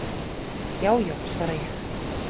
"""Já já, svara ég."""